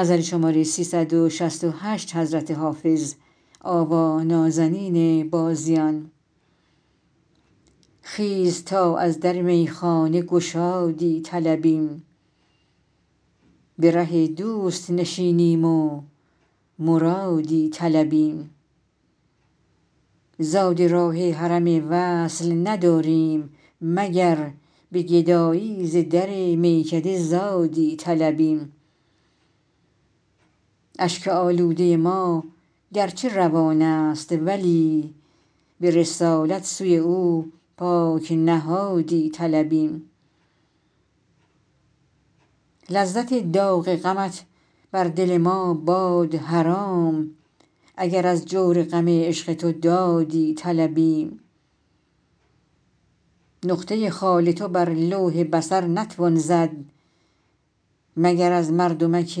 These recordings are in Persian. خیز تا از در میخانه گشادی طلبیم به ره دوست نشینیم و مرادی طلبیم زاد راه حرم وصل نداریم مگر به گدایی ز در میکده زادی طلبیم اشک آلوده ما گرچه روان است ولی به رسالت سوی او پاک نهادی طلبیم لذت داغ غمت بر دل ما باد حرام اگر از جور غم عشق تو دادی طلبیم نقطه خال تو بر لوح بصر نتوان زد مگر از مردمک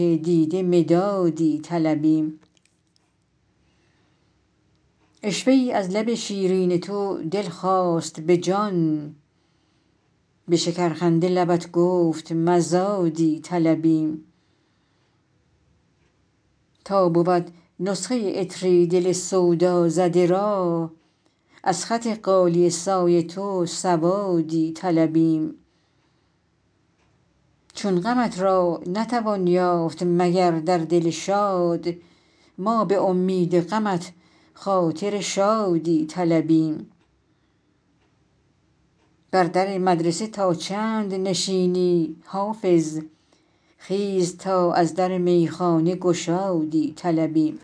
دیده مدادی طلبیم عشوه ای از لب شیرین تو دل خواست به جان به شکرخنده لبت گفت مزادی طلبیم تا بود نسخه عطری دل سودازده را از خط غالیه سای تو سوادی طلبیم چون غمت را نتوان یافت مگر در دل شاد ما به امید غمت خاطر شادی طلبیم بر در مدرسه تا چند نشینی حافظ خیز تا از در میخانه گشادی طلبیم